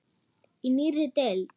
Í nýrri deild.